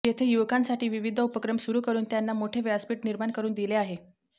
येथे युवकांसाठी विविध उपक्रम सुरु करुन त्यांना मोठे व्यासपीठ निर्माण करुन दिले आहे